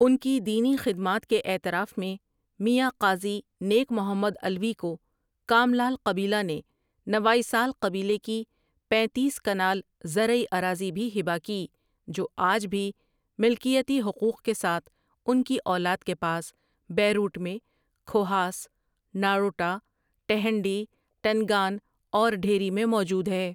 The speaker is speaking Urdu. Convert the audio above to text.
اُن کی ان دینی خدمات کے اعتراف میں میاں قاضی نیک محمد علوی کو کاملال قبیلہ نے نوائیسال قبیلے کی پینتیس کنال زرعی اراضی بھی ہبہ کی جو آج بھی ملکیتی حقوق کے ساتھ ان کی اولاد کے پاس بیروٹ میں کھوہاس، ناڑوٹہ، ٹہنڈی، ٹنگان اور ڈھیری میں موجود ہے ۔